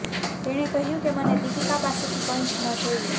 તેણે કહ્યુ કે મને દીપિકા પાસેથી કંઈ ન જોઈએ